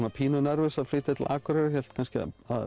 pínu nervus að flytja til Akureyrar kannski